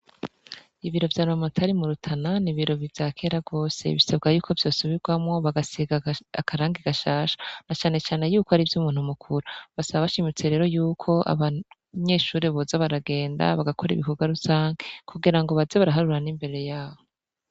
Ibiro vya buramatari mu Rutana ni ibiro vya kera gose bisabwa yuko vyosubigwamo bagasiga akarangi gashasha na cane cane yuko ari ivy' umuntu mukuru basaba bashimitse yuko abanyeshure boza baragenda bagakora ibikogwa rusangi kugira ngo baze baraharura n' imbere yaho.